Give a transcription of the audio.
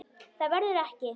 Það verður ekki.